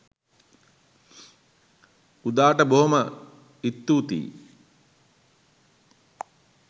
උදාට බෝම ඉත්තූතියි